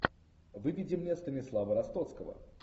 выведи мне станислава ростоцкого